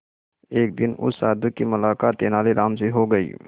एक दिन उस साधु की मुलाकात तेनालीराम से हो गई